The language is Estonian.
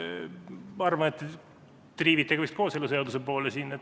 Ma arvan, et te triivite vist kooseluseaduse poole.